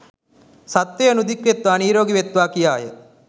සත්වයෝ නිදුක් වෙත්වා නීරෝගී වෙත්වා කියාය.